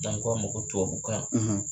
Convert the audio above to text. N'an ko a ma ko tubabukan.